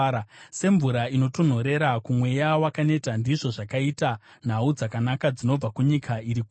Semvura inotonhorera kumweya wakaneta ndizvo zvakaita nhau dzakanaka dzinobva kunyika iri kure.